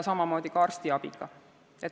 Samamoodi on arstiabiga.